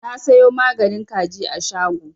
Na siyo maganin kajin a shago.